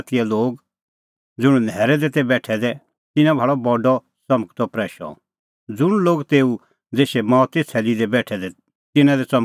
ज़ुंण न्हैरै दी तै बेठै दै तिन्नैं भाल़अ बडअ च़मकदअ प्रैशअ ज़ुंण लोग तेऊ देशै मौते छ़ैल्ली दी तै बेठै दै तिन्नां दी च़मकअ प्रैशअ